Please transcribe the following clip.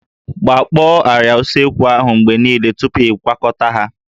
Gbakpọọ àrịá usekwu ahụ mgbe niile tupu ịkwakọta ha